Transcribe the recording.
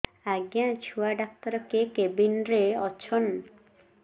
ଆଜ୍ଞା ଛୁଆ ଡାକ୍ତର କେ କେବିନ୍ ରେ ଅଛନ୍